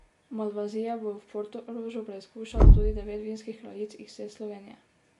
Malvazije bo v Portorožu preizkušalo tudi devet vinskih kraljic iz vse Slovenije.